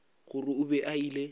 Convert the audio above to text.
gore o be a ile